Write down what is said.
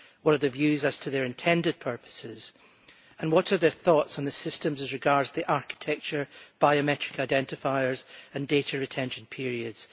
What are their views as to the intended purposes and what are their thoughts on the systems as regards the architecture, biometric identifiers and data retention periods?